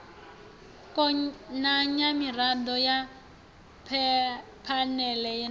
konanya mirado ya phanele na